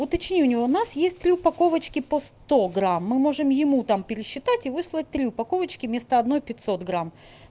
уточни у него у нас есть три упаковочки по сто грамм мы можем ему там пересчитать и выслать три упаковочки вместо одной пятьсот грамм